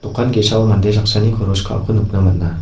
dokan ge·sao mande saksani koros ka·ako nikna man·a.